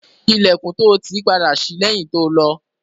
Ilẹ̀kùn to tì padà ṣí lẹ́yìn to lọ.